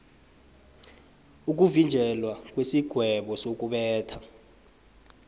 ukuvinjelwa kwesigwebo sokubetha